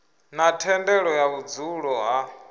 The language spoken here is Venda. na thendelo ya vhudzulo ha